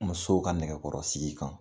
Musow ka nɛgɛkɔrɔ sigi kan